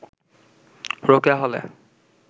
রোকেয়া হলে